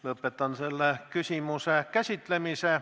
Lõpetan selle küsimuse käsitlemise.